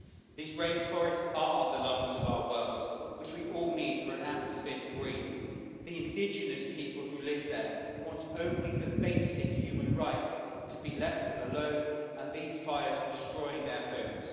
These rainforests are the lungs of our world, which we all need for an atmosphere to breathe. The indigenous people who live there want only the basic human right to be left alone, and these fires are destroying their homes.